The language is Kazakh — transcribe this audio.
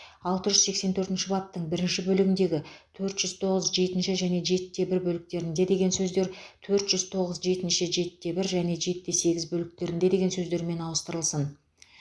алты жүз сексен төртінші баптың бірінші бөлігіндегі төрт жүз тоғыз жетінші және жетіде бір бөліктерінде деген сөздер төрт жүз тоғыз жетінші жетіде бір және жетіде сегіз бөліктерінде деген сөздермен ауыстырылсын